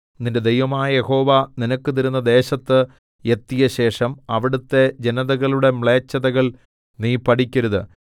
നിന്റെ ദൈവമായ യഹോവ നിനക്ക് തരുന്ന ദേശത്ത് എത്തിയശേഷം അവിടുത്തെ ജനതകളുടെ മ്ലേച്ഛതകൾ നീ പഠിക്കരുത്